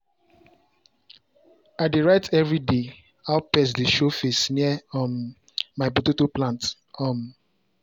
i dey write every day how pest dey show face near um my tomato plant. um